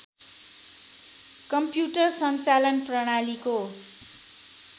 commuter सञ्चालन प्रणालीको